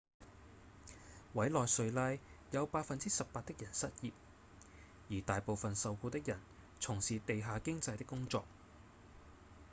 委內瑞拉有 18% 的人失業而大部分受雇的人從事地下經濟的工作